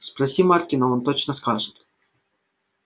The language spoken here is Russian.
спроси маркина он точно скажет